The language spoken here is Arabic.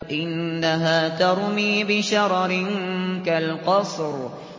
إِنَّهَا تَرْمِي بِشَرَرٍ كَالْقَصْرِ